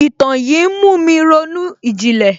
Ìtàn yín ń mú mi ronú ìjìnlẹ̀